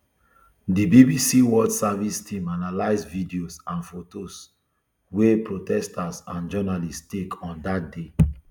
di bbc world service team analyse videos and fotos wey protesters and journalists take on dat day